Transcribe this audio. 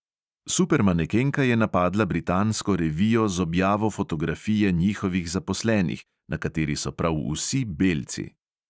Supermanekenka je napadla britansko revijo z objavo fotografije njihovih zaposlenih, na kateri so prav vsi belci.